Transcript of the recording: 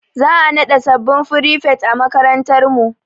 Za'a naɗa sabbin frifet a makarantar mu.